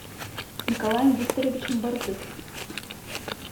николаем викторовичем борзых